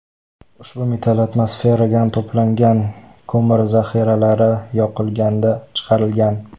Ushbu metal atmosferagan to‘plangan ko‘mir zahiralari yoqilganda chiqarilgan.